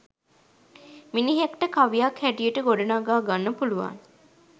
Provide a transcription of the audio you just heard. මිනිහෙක්ට කවියක් හැටියට ගොඩනඟා ගන්න පුළුවන්.